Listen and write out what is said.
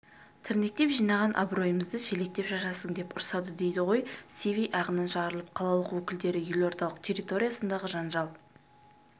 тірнектеп жинаған абыройымызды шелектеп шашасың деп ұрсады дейді сиви ағынан жарылып қалалық өкілдері елордалық территориясындағы жанжал